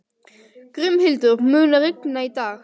Grímhildur, mun rigna í dag?